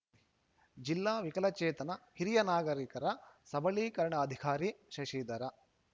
ಜಿಲ್ಲಾ ವಿಕಲಚೇತನರ ಹಿರಿಯ ನಾಗರಿಕರ ಸಬಲೀಕರಣಾಧಿಕಾರಿ ಶಶಿಧರ